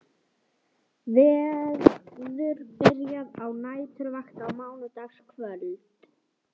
Verður byrjað á næturvakt á mánudagskvöld.